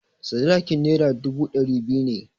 Sadakin Naira dubu ɗari biyu ne.